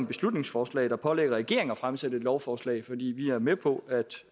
beslutningsforslag der pålægger regeringen at fremsætte et lovforslag fordi vi er med på